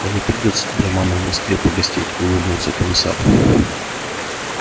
да не придётся тебе у мамы в москве погостить улыбнулся комиссар